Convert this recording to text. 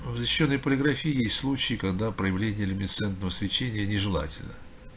ээ в защищённой полиграфии есть случаи когда проявление люминесцентного свечения нежелательно